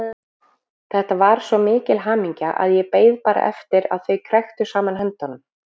Þetta var svo mikil hamingja að ég beið bara eftir að þau kræktu saman höndunum.